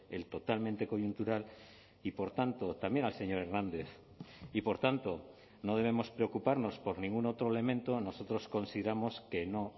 el totalmente coyuntural y por tanto también al señor hernández y por tanto no debemos preocuparnos por ningún otro elemento nosotros consideramos que no